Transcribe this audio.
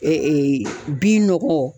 bin nɔgɔ.